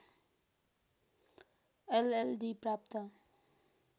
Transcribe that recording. LLD प्राप्त